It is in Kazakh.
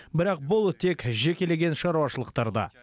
бірақ бұл тек жекелеген шаруашылықтарда